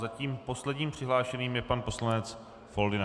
Zatím posledním přihlášeným je pan poslanec Foldyna.